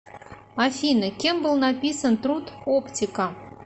афина кем был написан труд оптика